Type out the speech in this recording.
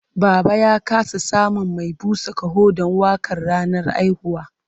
Baba ya ƙasa samun mai busa ƙaho don waƙar ranar haihuwa.